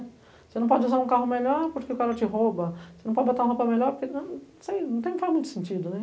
Você não pode usar um carro melhor porque o cara te rouba, você não pode botar uma roupa melhor porque não, não sei, não tem não faz muito sentido, né?